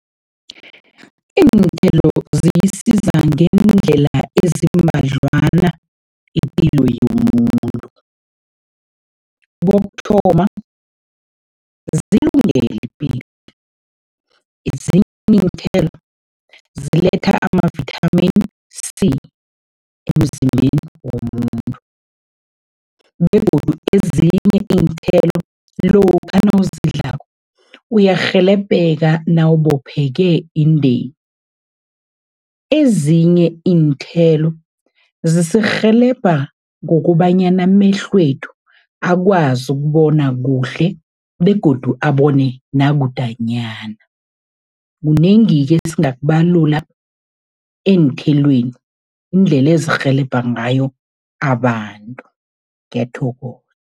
Iinthelo ziyisiza ngeendlela ezimbadlwana ipilo yomuntu. Kokuthoma, zilungele ipilo, ezinye iinthelo ziletha ama-Vitamin C emzimbeni womuntu begodu ezinye iinthelo lokha nawuzidlako, uyarhelebheka nawubopheke indeni. Ezinye iinthelo zisirhelebha ngokobanyana amehlwethu akwazi ukubona kuhle begodu abone nakudanyana. Kunengi-ke esingakubalula eenthelweni, indlela ezirhelebha ngayo abantu, ngiyathokoza.